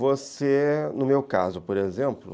Você, no meu caso, por exemplo...